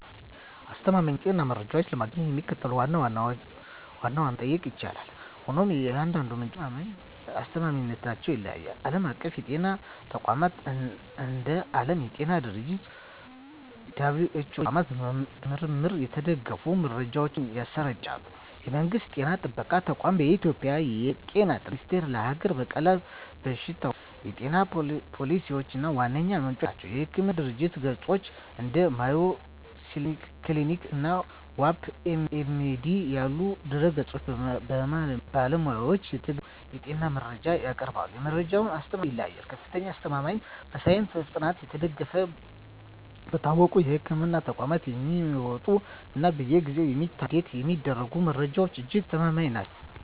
አስተማማኝ የጤና መረጃዎችን ለማግኘት የሚከተሉትን ዋና ዋና ምንጮች መጠቀም ይቻላል፤ ሆኖም የእያንዳንዱ ምንጭ አስተማማኝነት ይለያያል። ዓለም አቀፍ የጤና ተቋማት፦ እንደ ዓለም የጤና ድርጅት (WHO) ያሉ ተቋማት በምርምር የተደገፉ መረጃዎችን ያሰራጫሉ። የመንግስት ጤና ጥበቃ ተቋማት፦ በኢትዮጵያ የ ጤና ጥበቃ ሚኒስቴር ለሀገር በቀል በሽታዎችና የጤና ፖሊሲዎች ዋነኛ ምንጭ ነው። የሕክምና ድረ-ገጾች፦ እንደ Mayo Clinic እና WebMD ያሉ ድረ-ገጾች በባለሙያዎች የተገመገሙ የጤና መረጃዎችን ያቀርባሉ። የመረጃዎቹ አስተማማኝነት እንደ ምንጩ ይለያያል፦ ከፍተኛ አስተማማኝነት፦ በሳይንሳዊ ጥናት የተደገፉ፣ በታወቁ የሕክምና ተቋማት የሚወጡ እና በየጊዜው የሚታደሱ (Update የሚደረጉ) መረጃዎች እጅግ አስተማማኝ ናቸው።